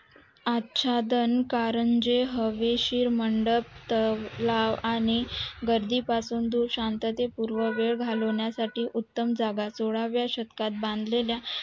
आच्छादन कानं कारंजे हवेशीर मंडप तलाव आणि गादी पासून दूर गर्दी दूर पासून शांतता पूर्ण वेळ घालवण्या साठी उत्तम जागा सोळाव्या शतकात बांधलेल्या